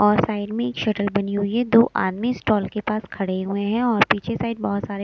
और साइड में एक शटल बनी हुई है दो आदमी स्टॉल के पास खड़े हुए हैं और पीछे साइड बहुत सारे--